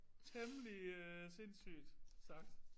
Temmelig sindssygt sagt